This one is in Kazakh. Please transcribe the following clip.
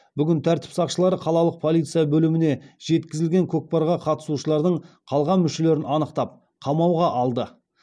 бүгін тәртіп сақшылары қалалық полиция бөліміне жеткізілген кокпарға қатысушылардың қалған мүшелерін анықтап қамауға алды